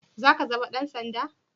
Za ka zama Dan sanda?